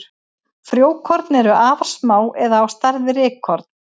Frjókorn eru afar smá eða á stærð við rykkorn.